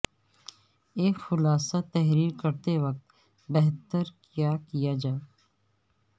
ایک خلاصہ تحریر کرتے وقت بہتر کیا کیا جائے